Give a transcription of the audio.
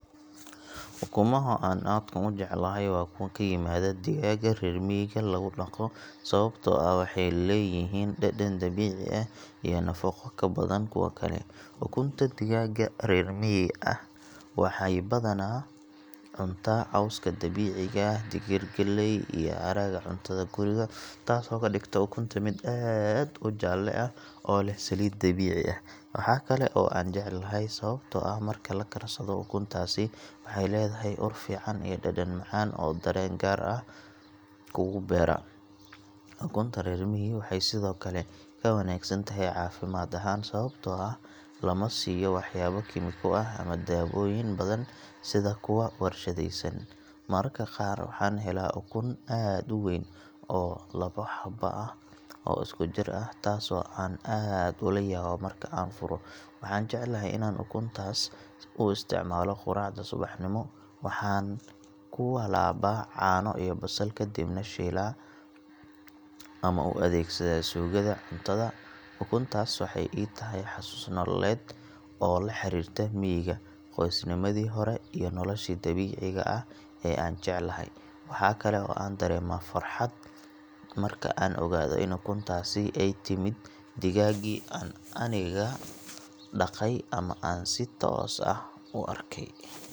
Ukumaha aan aadka u jeclahay waa kuwa ka yimaada digaagga reer miyiga lagu dhaqo sababtoo ah waxay leeyihiin dhadhan dabiici ah iyo nafaqo ka badan kuwa kale. Ukunta digaagga reer miyi waxay badanaa cuntaan cawska dabiiciga ah, digir, galley iyo haraaga cuntada guriga taasoo ka dhigta ukunta mid aad u jaalle ah oo leh saliid dabiici ah. Waxaa kale oo aan jecelahay sababtoo ah marka la karsado ukuntaasi waxay leedahay ur fiican iyo dhadhan macaan oo dareen gaar ah kugu beera. Ukunta reer miyi waxay sidoo kale ka wanaagsan tahay caafimaad ahaan sababtoo ah lama siiyo waxyaabo kiimiko ah ama dawooyin badan sida kuwa warshadaysan. Mararka qaar waxaan helaa ukun aad u weyn oo labo xabo ah oo isku jir ah taasoo aan aad ula yaabo marka aan furo. Waxaan jecelahay inaan ukuntaas u isticmaalo quraacda subaxnimo, waxaan ku walaabaa caano iyo basal kadibna shiilaa ama u adeegsadaa suugada cuntada. Ukuntaas waxay ii tahay xasuus nololeed oo la xiriirta miyiga, qoysnimadii hore iyo nolosha dabiiciga ah ee aan jecelahay. Waxaa kale oo aan dareemaa farxad marka aan ogaado in ukuntaasi ay ka timid digaaggii aan aniga dhaqay ama aan si toos ah u arkay.